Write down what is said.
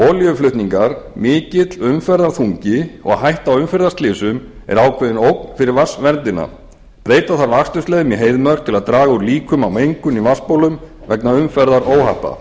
olíuflutningar mikill umferðarþungi og hætta á umferðarslysum er ákveðin ógn fyrir vatnsverndina breyta þarf akstursleiðum í heiðmörk til að draga úr líkum á mengun í vatnsbólum vegna umferðaróhappa